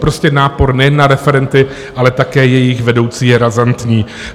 Prostě nápor nejen na referenty, ale také jejich vedoucí, je razantní.